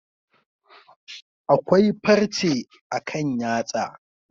Akwai farche akan yatsa.